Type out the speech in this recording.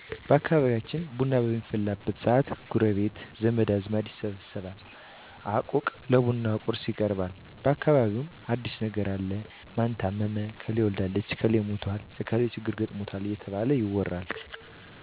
በአካባቢያችን ቡና በሚፈላበት ሰአት ጎረቤት ዘመድ አዝማድ ይሰበሰባል አቁቅ ለቡና ቁርስ ይቀርባል በአካባቢውምን አዲስ ነገር አለ ማን ታመመ እከሌ ወልዳለች እክሌ ሙቶል እከሊት ችግር ገጥሞታል እየተባለ ይወራል